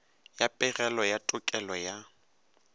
ya pegelo ya tekolo ya